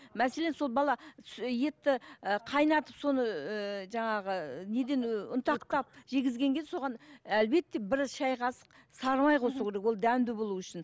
мәселен сол бала етті і қайнатып соны ыыы жаңағы неден і ұнтақтап жегізгенге соған әлбетте бір шай қасық сары май қосу керек ол дәмді болу үшін